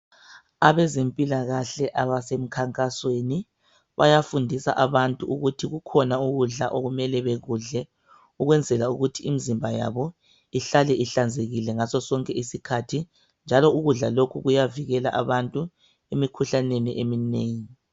Abezempilakahle abasemkhankasweni bayafundisa abantu ukuthi kukhona ukudla okumele bekudle. Ukwenzela ukuthi imzimba yabo ihlale ihlanzekile ngaso sonke isikhathi. Njalo ukudla lokhu kuyavikela abantu emikhuhlaneni eminengi .